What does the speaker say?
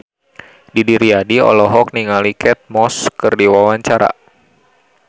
Didi Riyadi olohok ningali Kate Moss keur diwawancara